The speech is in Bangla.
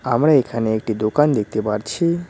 আমরা এখানে একটি দোকান দেখতে পারছি।